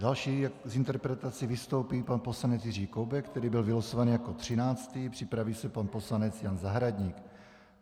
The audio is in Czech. Další s interpelací vystoupí pan poslanec Jiří Koubek, který byl vylosovaný jako třináctý, připraví se pan poslanec Jan Zahradník.